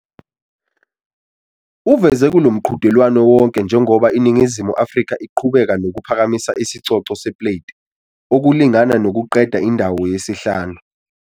Uveze kulo mqhudelwano wonke njengoba iNingizimu Afrika iqhubeka nokuphakamisa isicoco sePlate, okulingana nokuqeda indawo yesihlanu.